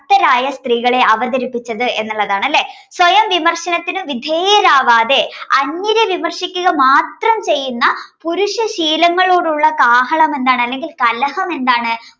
സ്ത്രീകളെ അവതരിപ്പിച്ചത് എന്നുള്ളതാണ് അല്ലേ. സ്വയം വിമർശനത്തിന് വിധേയരാവാതെ അന്യരെ വിമർശിക്കുക മാത്രം ചെയ്യുന്ന പുരുഷ ശീലങ്ങളോടുള്ള കാഹളമെന്താണ് അല്ലെങ്കിൽ കലഹമെന്താണ്